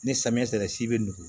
Ni samiya sera si bɛ nugu